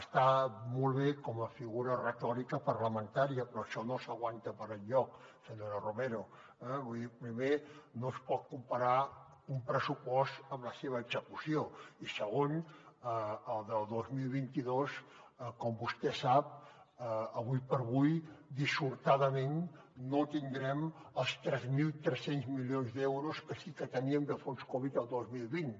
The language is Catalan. està molt bé com a figura retòrica parlamentària però això no s’aguanta per enlloc senyora romero eh vull dir primer no es pot comparar un pressupost amb la seva execució i segon al de dos mil vint dos com vostè sap ara per ara dissortadament no tindrem els tres mil tres cents milions d’euros que sí que teníem de fons covid el dos mil vint